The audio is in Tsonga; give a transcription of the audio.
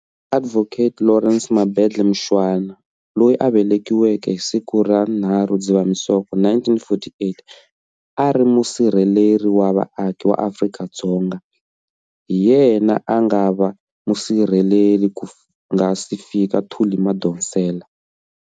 Adv Lawrence Mabendle Mushwana, loyi a velekiweke hi siku ra 3 Dzivamisoko 1948, a ri Musirheleri wa Vaaki wa Afrika-Dzonga. Hi yena a nga va musirheleli ku nga si fika Thuli Madonsela.